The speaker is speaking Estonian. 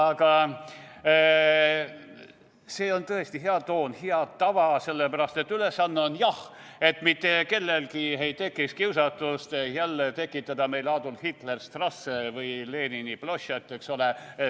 Aga see on tõesti hea toon, hea tava, sellepärast et ülesanne on, jah, et mitte kellelgi ei tekiks kiusatust jälle tekitada meile Adolf Hitler Strasse või Ploštšad Lenina, eks ole.